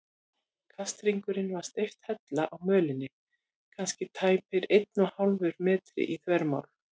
Kasthringurinn var steypt hella á mölinni, kannski tæpur einn og hálfur metri í þvermál.